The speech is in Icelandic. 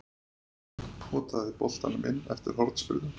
Potaði boltanum inn eftir hornspyrnu.